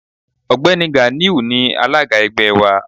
Ọ̀gbẹ́ni Ganiu ni alága ẹgbẹ́ wa.